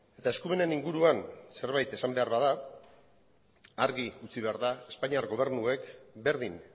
eta eskumenen inguruan zerbait esan behar bada argi utzi behar da espainiar gobernuek berdin